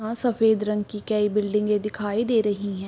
आँ सफ़ेद रंग की कईं बिल्डिंगे दिखाई दे रहीं हैं।